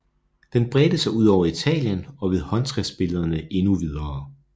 Den bredte sig ud over Italien og ved håndskriftbillederne endnu videre